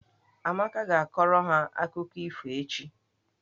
Amaka ga-akọrọ ha akụkọ ifo echi.